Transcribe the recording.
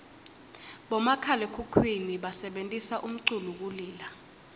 bomakhalaekhukhwini basebentisa umculu kulila